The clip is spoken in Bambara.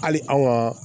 Hali an ka